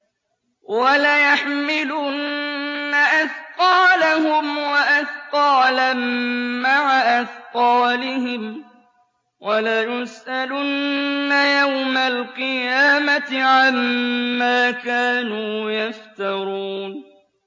وَلَيَحْمِلُنَّ أَثْقَالَهُمْ وَأَثْقَالًا مَّعَ أَثْقَالِهِمْ ۖ وَلَيُسْأَلُنَّ يَوْمَ الْقِيَامَةِ عَمَّا كَانُوا يَفْتَرُونَ